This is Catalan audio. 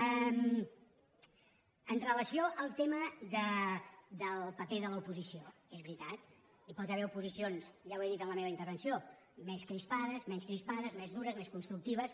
amb relació al tema del paper de l’oposició és veritat hi pot haver oposicions ja ho he dit en la meva intervenció més crispades menys crispades més dures més constructives